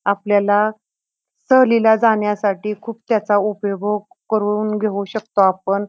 आपल्याला सहलीला जाण्यासाठी खूप त्याचा उपयोग करून घेऊ शकतो आपण.